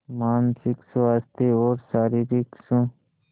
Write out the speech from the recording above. मानसिक स्वास्थ्य और शारीरिक स्